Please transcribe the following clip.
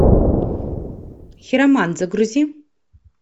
хиромант загрузи